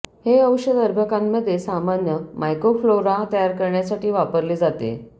हे औषध अर्भकांमध्ये सामान्य मायक्रोफ्लोरा तयार करण्यासाठी वापरले जाते